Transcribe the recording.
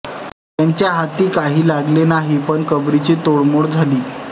त्यांच्या हाती काही लागले नाही पण कबरीची मोडतोड झाली